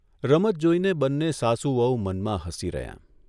રમત જોઇને બંને સાસુ વહુ મનમાં હસી રહ્યાં.